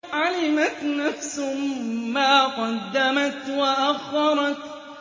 عَلِمَتْ نَفْسٌ مَّا قَدَّمَتْ وَأَخَّرَتْ